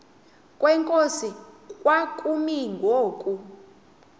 kwenkosi kwakumi ngoku